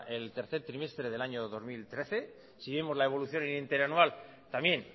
en el tercer trimestre del año dos mil trece si vemos la evolución interanual también